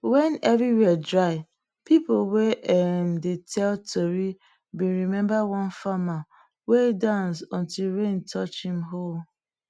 when everywhere dry people wey um dey tell tori been remember one farmer wey dance until rain touch em hoe